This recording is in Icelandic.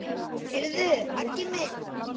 Heyrðu Aggi minn.